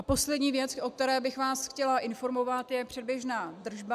A poslední věc, o které bych vás chtěla informovat, je předběžná držba.